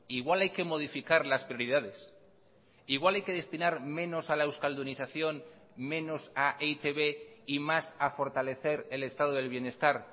igual hay que modificar las prioridades igual hay que destinar menos a la euskaldunización menos a e i te be y más a fortalecer el estado del bienestar